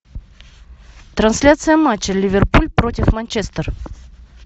трансляция матча ливерпуль против манчестер